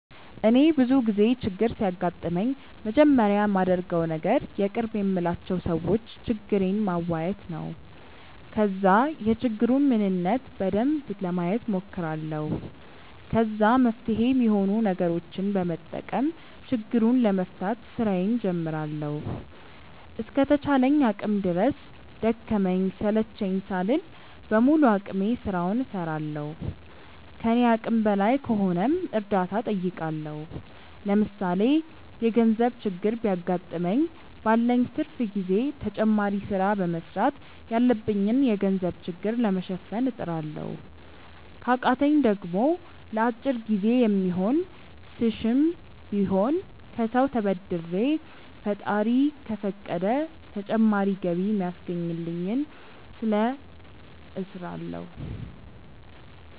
እኔ ብዙ ጊዜ ችግር ሲያጋጥመኝ መጀመሪያ ማደርገው ነገር የቅርብ የምላቸው ሰዎች ችግሬን ማዋየት ነው። ከዛ የችግሩን ምንነት በደንብ ለማየት ሞክራለሁ። ከዛ መፍትሄ ሚሆኑ ነገሮችን በመጠቀም ችግሩን ለመፍታት ስራዬን ጀምራለሁ። እስከ ተቻለኝ አቅም ድረስ ደከመኝ ሰለቸኝ ሳልል በሙሉ አቅሜ ስራውን እስራለሁ። ከኔ አቅም በላይ ከሆነም እርዳታ ጠይቃለሁ። ለምሳሌ የገርዘብ ችግር ቢያገጥመኝ ባለኝ ትርፍ ጊዜ ተጨማሪ ስራ በመስራት ያለብኝን የገንዘብ ችግር ለመሸፈን እጥራለሁ። ከቃተኝ ደሞ ለአጭር ጊዜ የሚሆን ስሽም ቢሆን ከሰው ተበድሬ ፈጣሪ ከፈቀደ ተጨማሪ ገቢ ሚያስገኘኝን ስለ እስራለሁ።